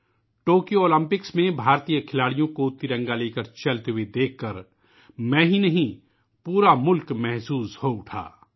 Tokyo Olympics میں بھارتی کھلاڑیوں کو ترنگا لے کر چلتے دیکھ کر میں ہی نہیں ، پورا ملک جھوم اٹھا